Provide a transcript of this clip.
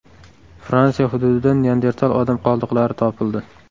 Fransiya hududidan Neandertal odam qoldiqlari topildi.